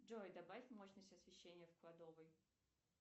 джой добавь мощность освещения в кладовой